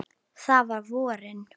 Það var á vorin.